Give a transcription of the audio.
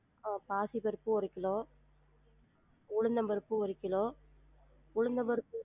ஆஹ் பாசிப்பருப்பு ஒரு கிலோ உள்ளுந்தபருப்பு ஒரு கிலோ உளுந்தம்பருப்பு